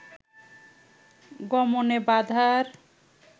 গমনে বাধার